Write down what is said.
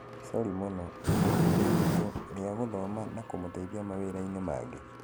sori mũno, wĩna ihinda iritũ rĩa gũthoma na kũmũteithia mawĩrainĩ mangĩ?